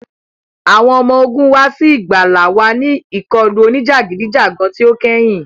Awọn ọmọ ogun wa si igbala wa ni ikọlu onijagidijagan ti o kẹhin.